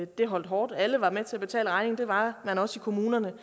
det holdt hårdt alle var med til at betale regningen det var man også i kommunerne